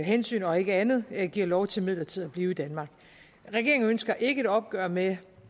hensyn og ikke andet giver lov til midlertidigt at blive i danmark regeringen ønsker ikke et opgør med